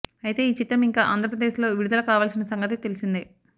అయితే ఈ చిత్రం ఇంకా ఆంధ్రప్రదేశ్ లో విడుదల కావాల్సిన సంగతి తెలిసిందే